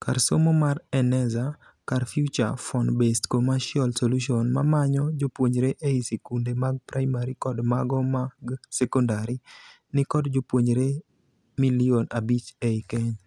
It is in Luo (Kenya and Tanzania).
Kar somo mar Eneza, kar feature -phone -based commercial solution mamanyo jopuonjre ei sikunde mag primary kod mago mag secondary, ni kod jopuonjre milion abich ei Kenya.